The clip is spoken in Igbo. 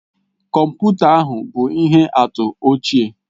Kọmputa ahụ bụ ihe atụ ochie